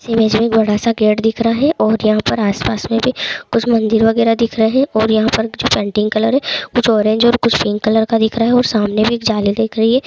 Image में बड़ा-सा gate दिख रहा है और आसपास में भी कुछ मंदिर वगेरहा दिख रहे हैं और यहां पर कुछ पेंटिंग कलर है कुछ ऑरेंज है और कुछ पिंक कलर का दिख रहा है और सामने भी एक जाली दिख रही है।